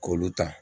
K'olu ta